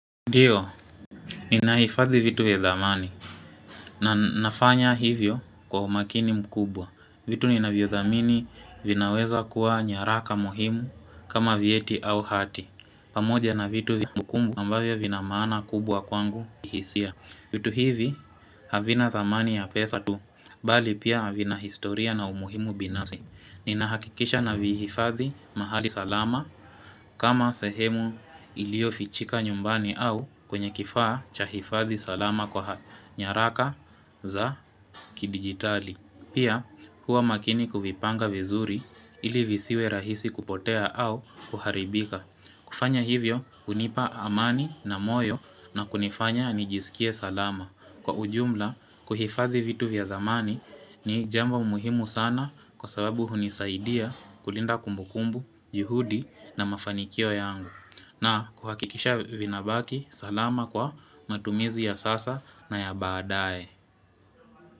Ndio, ninahifadhi vitu vya dhamani na nafanya hivyo kwa umakini mkubwa. Vitu ninavyodhamini vinaweza kuwa nyaraka muhimu kama vyeti au hati. Pamoja na vitu vya mkumbu ambavyo vina maana kubwa kwangu kihisia. Vitu hivi havina thamani ya pesa tu, bali pia vina historia na umuhimu binafsi. Ninahakikisha navihifadhi mahali salama kama sehemu iliyofichika nyumbani au kwenye kifaa cha hifadhi salama kwa nyaraka za kidigitali Pia huwa makini kuvipanga vizuri ili visiwe rahisi kupotea au kuharibika kufanya hivyo hunipa amani na moyo na kunifanya nijisikie salama Kwa ujumla, kuhifadhi vitu vya thamani ni jambo umuhimu sana kwa sababu hunisaidia kulinda kumbukumbu, juhudi na mafanikio yangu. Nakuhakikisha vinabaki, salama kwa matumizi ya sasa na ya baadae.